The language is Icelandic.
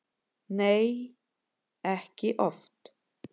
Nei, ekki oft.